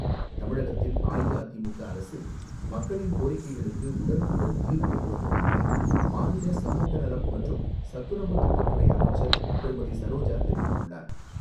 தமிழகத்தில் அஇஅதிமுக அரசு மக்களின் கோரிக்கைகளுக்கு உடனுக்குடன் தீர்வு கண்டு வருவதாக மாநில சமூக நலம் மற்றும் சத்துணவுத் திட்டத்துறை அமைச்சர் திருமதி சரோஜா தெரிவித்துள்ளார்.